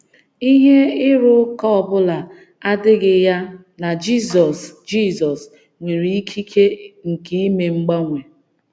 Ihe ịrụ ụka ọ bụla adịghị ya na Jizọs Jizọs nwere ikike nke ime mgbanwe.